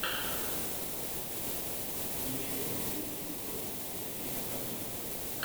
включай последний эпизод музея наргиз